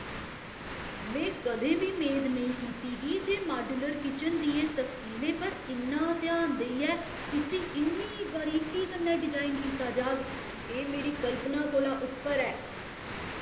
में कदें बी मेद नेईं कीती ही जे माड्यूलर किचन दियें तफसीलें पर इन्ना ध्यान देइयै इस्सी इन्नी बारीकी कन्नै डिजाइन कीता जाग! एह् मेरी कल्पना कोला उप्पर ऐ।